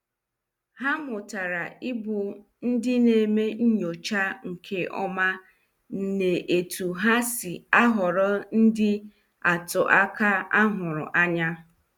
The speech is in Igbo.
Ha mụtara ibu ndị na- eme nyocha nke ọma n' etu ha si ahọrọ ndị atụ aka ahụrụ anya.